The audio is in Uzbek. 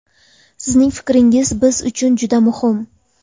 Sizning fikringiz biz uchun juda muhim!